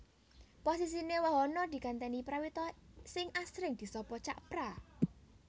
Posisiné Wahono digantèni Prawito sing asring disapa Cak Pra